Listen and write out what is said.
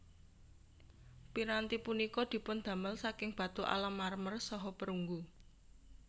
Piranti punika dipundamel saking batu alam marmer saha perunggu